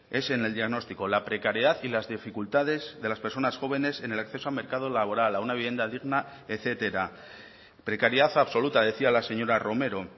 es en el diagnóstico la precariedad y las dificultades de las personas jóvenes en el acceso al mercado laboral a una vivienda digna etcétera precariedad absoluta decía la señora romero